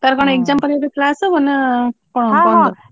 ତାର କଣ exam ପରେ କଣ class ହବ ନାଁ